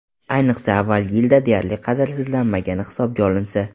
Ayniqsa, avvalgi yilda u deyarli qadrsizlanmagani hisobga olinsa.